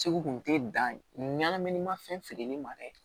Segu tun tɛ danmini ma fɛn feereli ma dɛ